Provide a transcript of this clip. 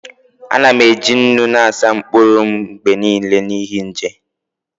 Ana m eji nnu na-asa mkpụrụ m mgbe niile n'ihi nje